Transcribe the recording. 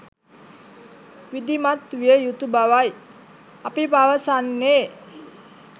විධිමත් විය යුතු බවයි අපි පවසන්නේ.